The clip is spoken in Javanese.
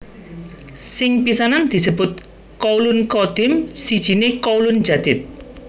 Sing pisanan disebut Qaulun Qadim sijiné Qaulun Jadid